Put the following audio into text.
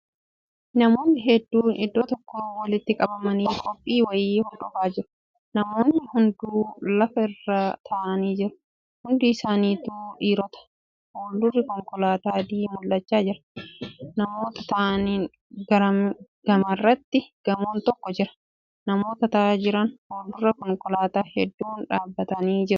Namoonni hedduun iddoo tokkotti walitti qabamanii qophii wa'ii hordofaa jiru. Namoonni hunduu lafa irra taa'anii jiru. Hundi isaanitu dhiirota. Fuuldurri konkolaataa adii mul'achaa jira. Namoota taa'aniin gamarratti gamoon tokko jira. Namoota taa'aa jiran fuuldura konkolaataa hedduun dhaabatanii jiru.